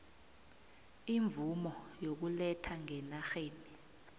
imvumo yokuletha ngenarheni